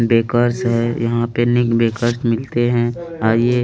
bakers है यहाँ पे निक बेकर्स मिलते है और ये --